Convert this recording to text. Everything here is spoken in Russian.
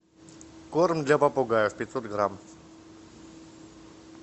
корм для попугаев пятьсот грамм